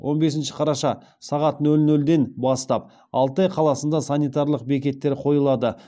он бесінші қараша сағат нөл нөлден бастап алтай қаласында санитарлық бекеттер қойылады